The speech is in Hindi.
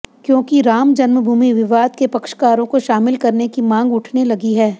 क्योकि राम जन्मभूमि विवाद के पक्षकारों को शामिल करने की मांग उठने लगी है